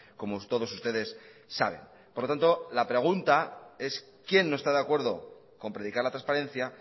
como todos ustedes saben por lo tanto la pregunta es quién no está de acuerdo con predicar la transparencia